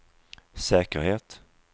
säkerhet